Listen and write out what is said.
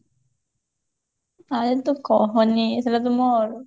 ଆଉ ତୁ କହନି ସେଟା ତ ମୋ